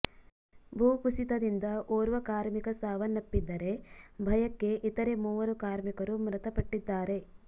ಭೂ ಕುಸಿತದಿಂದ ಓರ್ವ ಕಾರ್ಮಿಕ ಸಾವನ್ನಪ್ಪಿದ್ದರೆ ಭಯಕ್ಕೆ ಇತರೆ ಮೂವರು ಕಾರ್ಮಿಕರು ಮೃತಪಟ್ಟಿದ್ದಾರೆ